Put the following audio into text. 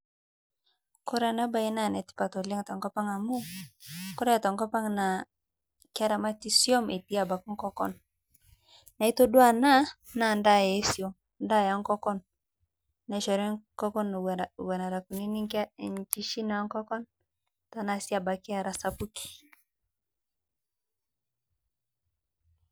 Kore ana bae naa netipat te nkopang' amu, kore tenkopang' naa keramati swum etii abaki ngokon, naaitodua ana naa ndaa ee swum, ndaa ee ngokon nachori ngokon era nkunini nshichin ee ngokon, tanaa sii abaki era sapuki.